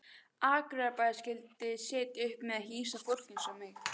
Akureyrarbær skyldi sitja uppi með að hýsa fólk eins og mig.